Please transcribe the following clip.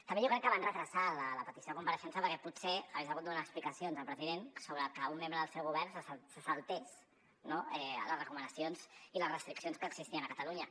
també jo crec que van retardar la petició de compareixença perquè potser hagués hagut de donar explicacions el president sobre que un membre del seu govern se saltés no les recomanacions i les restriccions que existien a catalunya